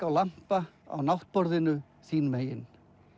á lampa á náttborðinu þín megin